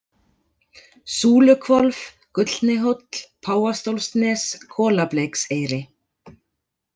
Súluhvolf, Gullni hóll, Páfastólsnes, Kolableikseyri